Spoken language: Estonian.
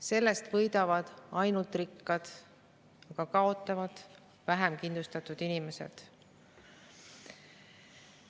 Sellest võidavad ainult rikkad, aga kaotavad vähekindlustatud inimesed.